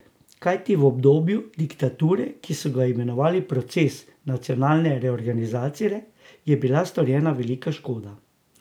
Kajti v obdobju diktature, ki so ga imenovali proces nacionalne reorganizacije, je bila storjena velika škoda.